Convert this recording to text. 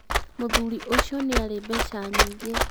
mũthuri ũcio nĩarĩ mbeca nyingĩ